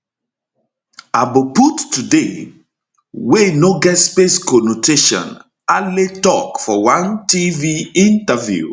aboput today wey no get space conotation ale tok for one tv interview